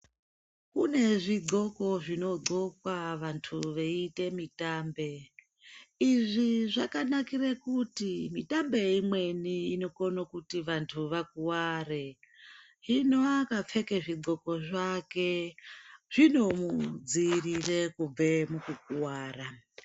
Kune zvidxoko zvinodxokwa vanhu veiite mitambe. Izvi zvakanakire kuti mitambe imweni inokone kuti antu akuware. Hino akapfeke zvidxoko zvake zvinomudziirire kubve mukukuwara.